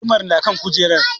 Gudumar na kan kujeran